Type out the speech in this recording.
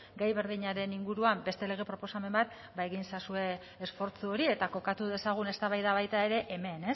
gai berdinaren inguruan beste lege proposamen bat ba egin ezazue esfortzu hori eta kokatu dezagun eztabaida baita ere hemen